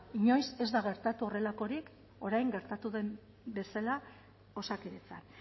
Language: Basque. inoiz ez da gertatu horrelakorik orain gertatu den bezala osakidetzan